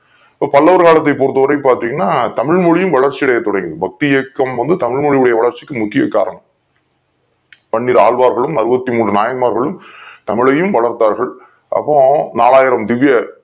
பல்லவர் காலத்தை பொறுத் தவரையும் பார்த்தீங்கன்னா தமிழ் மொழியும் வளர்ச்சி அடைய தொடங்கியது பக்தி இயக்கத்தின் போது தமிழ் வளர்ச்சிக்கு முக்கிய காலம் பன்னிரு ஆழ்வார்களும் அருபத்து மூன்று நாயன்மார்களும் தமிழையும் வளர்த்தார்கள் அப்போ நாங்காயிரம் திவ்ய